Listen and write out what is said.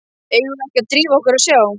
Eigum við ekki að drífa okkur og sjá.